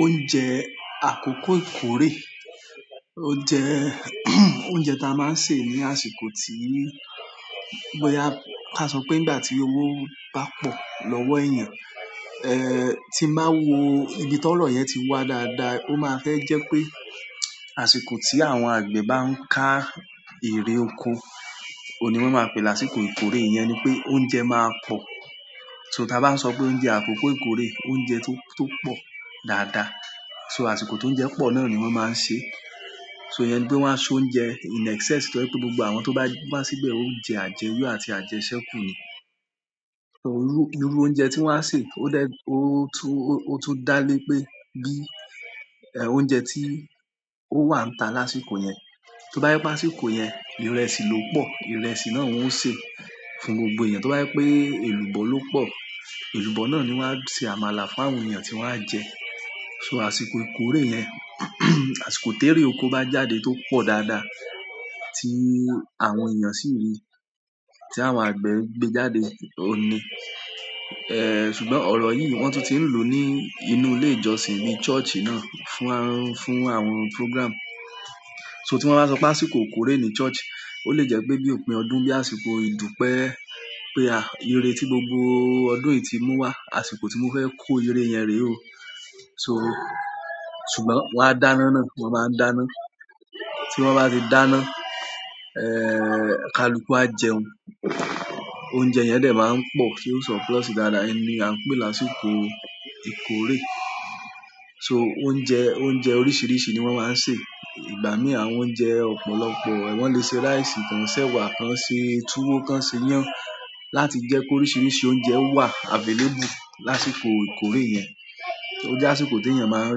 Oúnjẹ àkọ́kọ́ ìkórè, o jẹ oúnjẹ tí a máa ń sè ní àsìkò tí, bóyá ká sọ pé nígbà tí owó bá pọ̀ lọ́wọ́ èèyàn, eh tí ń bá wo ibi tó ọrọ̀ yẹn ti wá dáadáa, ó máa fẹ́ jẹ́ pé àsìkò tí àwọn àgbẹ̀ bá ń ká ere oko, ò un ni wọn máa pè láàsìkò ìkórè iyẹn ni pé oúnjẹ máa pọ̀. So tí a bá ń sọ pé oúnjẹ àkọ́kọ́ ìkórè, oúnjẹ tó, tó pọ̀ dáadáa. So àsìkò tó ń jẹ́ pọ̀ náà ni wọ́n máa ń ṣe. So ìyẹn ni pe wọ́n á so oúnjẹ in excess tó je wipé gbogbo àwọn tó bá, wá síbẹ̀ ó ń jẹ àjẹyọ àti àjẹsẹ́kù ni. So irú, irú oúnjẹ tí wọ́n á sè ó dẹ, ó tún, ó tún dá lé pé bí eh oúnjẹ tí ó wà níta lásìkò yẹn. To ba je wípé àsìkò yen ìrẹsì lọ́pọ̀, ìrẹsì na ni won o se fún gbogbo eyan. To ba je wípé elubo lọ́pọ̀, elubo, na ni won a se àmàlà fún àwọn eyan ti won a je. So àsìkò ìkórè yẹn àsìkò tí èrè oko bá jáde tó pọ̀ dáadáa tí àwọn èèyàn sì rí tí àwọn àgbẹ̀ gbé jáde òní. Eh ṣùgbọ́n ọ̀rọ̀ yìí wọ́n tún ti ń lò ní inú ilé ìjọsìn bí church náà fún àwọn, fún àwọn program. So tí wọ́n bá sọ pé àsìkò ìkórè ní church, ó lè jẹ́ pé bí òpin ọdún bí àsìkò ìdúpẹ́ pé a, ìre tí gbogbo ọdún yìí ti mú wá, àsìkò tí mo fẹ́ kó ìre yen rẹ̀ o. So ṣùgbọ́n wọ́n á dáná náà, wọ́n máa ń dáná. Tí wọ́n bá ti dáná, eh kaluku á jẹun. Oúnjẹ yẹn dẹ̀ máa ń pọ̀ ti ó sọ plus dáadáa, o un ni a ń pè lásìkò ìkórè. So oúnjẹ, oúnjẹ oríṣiríṣi ni wọ́n máa ń sè. Igbami àwọn o un je ọ̀pọ̀lọpọ̀. Wọ́n lè ṣe rice kan, sẹ́wà kan, ṣe túwó kan, ṣe iyán láti jẹ́ pé oríṣiríṣi oúnjẹ wà available lásìkò ìkórè yẹn. So ó jẹ́ àsìkò tí èèyàn máa ń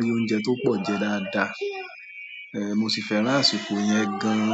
rí oúnjẹ tó pọ̀ jẹ dáadáa. Eh mo sì fẹ́ràn àsìkò yẹn gan.